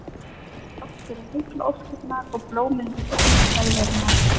Þrátt fyrir heillaóskirnar og blómin við upphaf ferðarinnar.